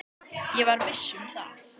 Ég var viss um það.